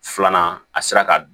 Filanan a sera ka